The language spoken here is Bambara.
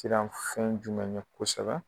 siran fɛn jumɛn ɲɛ kosɛbɛ.